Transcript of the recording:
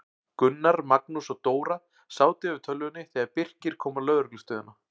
Gunnar, Magnús og Dóra sátu yfir tölvunni þegar Birkir kom á lögreglustöðina.